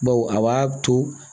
Baw a b'a to